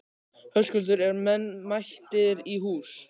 Höskuldur, eru menn mættir í hús?